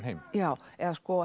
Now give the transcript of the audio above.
heim já eða